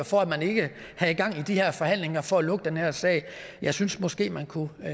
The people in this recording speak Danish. for at man ikke havde gang i de her forhandlinger for at lukke den her sag jeg synes måske man kunne